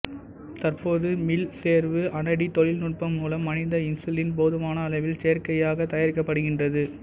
தற்போது மீள்சேர்வு அனடி தொழில்நுட்பம் மூலம் மனித இன்சுலின் போதுமான அளவில் செயற்கையாகத் தயாரிக்கப்படுகின்றது